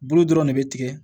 Bolo dɔrɔn ne bɛ tigɛ